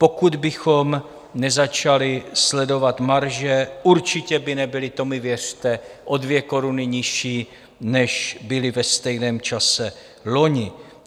Pokud bychom nezačali sledovat marže, určitě by nebyly - to mi věřte - o 2 koruny nižší, než byly ve stejném čase loni.